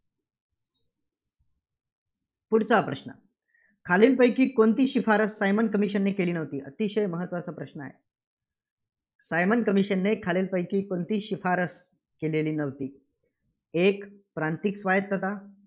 पुढचा प्रश्न. खालीलपैकी कोणती शिफारस सायमन commission ने केली नव्हती. अतिशय महत्त्वाचा प्रश्न आहे. सायमन commission ने खालीलपैकी कोणती शिफारस केलेली नव्हती. एक प्रांतिक स्वायत्तता